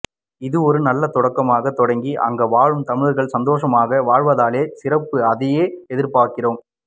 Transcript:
இது ஒரு நல்ல தொடக்கமாக தொடக்கி அங்கு வாழும் தமிழர்கள் சந்தோசமாக வாழ்தலே சிறப்பு அதையே எதிர்பார்க்கிறோம்